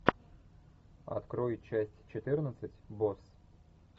открой часть четырнадцать босс